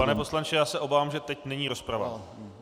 Pane poslanče, já se obávám, že teď není rozprava.